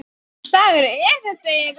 Hvers konar dagur er þetta eiginlega?